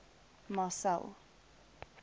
marcel